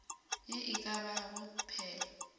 ye e ka bago phela